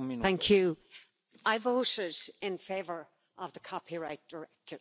Mr President, I voted in favour of the copyright directive.